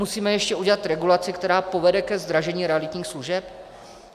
Musíme ještě udělat regulaci, která povede ke zdražení realitních služeb?